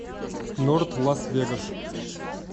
норт лас вегас